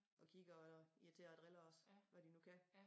Og kigger og irriterer og driller os hvad de nu kan